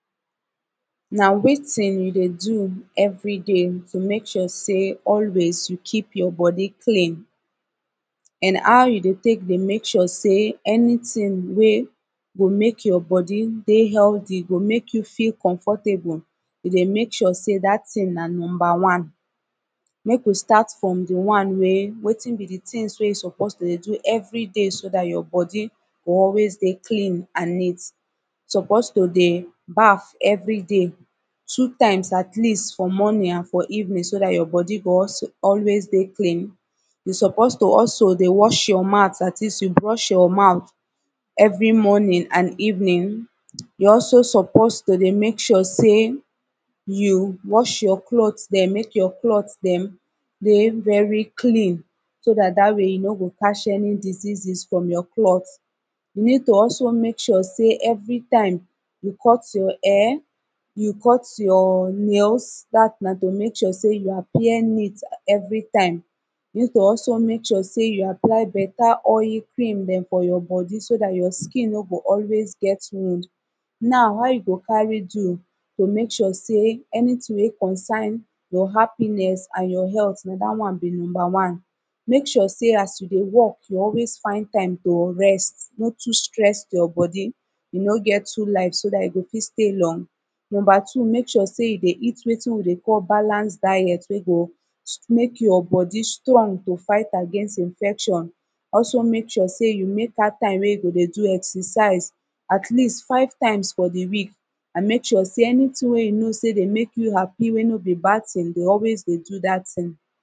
Na wetin you dey do everyday to mek sure say always you keep your body clean an how you dey tek dey mek sure say anyting wey go mek your body dey healthy go mek you feel comfortable e dey mek sure say dat tin na number one mek we start from de one wey wetin be de tins wey you suppose to dey do every day so I’m dat your body go always dey clean and neat. suppose to dey baff every day two times atleast for morning an for evening so dat your body go always dey clean you suppose to also dey wash your mouth dat is you brush your mouth every morning an evening you also suppose to dey mek sure say you wash your clothe dem make your clothe dem dey very clean so dat dat way you no go catch any diseases from your clothe you need to also mek sure say everytime you cut your hair you cut your nails dat na to mek sure say you appear neat everytime need to also mek sure say you apply beta oyil cream dem for your body so dat your skin no go always get wound now how you go carry do to mek sure say anyting wey concern your happiness an your health na dat one be number one mek sure say as you dey work you always find time to rest no too stress your body you no get two life so dat you go fit stay long number two mek sure say you dey eat wetin we dey call balanced diet wey go mek your body strong to fight against infection also mek sure say you mek out time wey you go dey do exercise at least five times for de week an make sure say anyting wey you know say dey mek you happy wey no be bad tin dey always dey do dat tin